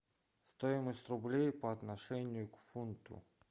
стоимость рублей по отношению к фунту